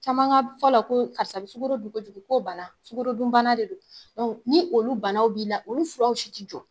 Caman ŋa fɔ la ko karisa be sugoro dun kojugu k'o bana, sugorodun bana de don. ni olu banaw b'i la olu furaw si ti jɔ.